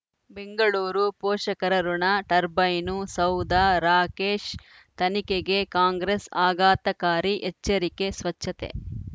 ಬೆಂಗಳೂರು ಪೋಷಕರಋಣ ಟರ್ಬೈನು ಸೌಧ ರಾಕೇಶ್ ತನಿಖೆಗೆ ಕಾಂಗ್ರೆಸ್ ಆಘಾತಕಾರಿ ಎಚ್ಚರಿಕೆ ಸ್ವಚ್ಛತೆ